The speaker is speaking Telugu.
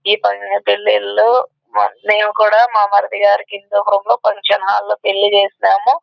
ఈ పాంగ పెళ్ళివాళ్ళు మేము కూడా మా మరిది గారికి ఇచ్చాపురం లో ఫంక్షన్ హాల్ లో పెళ్లి చేసాము.